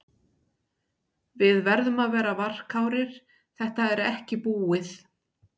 Við verðum að vera varkárir, þetta er ekki búið.